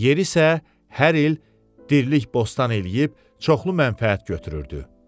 Yer isə hər il dirilik bostan eləyib çoxlu mənfəət götürürdü.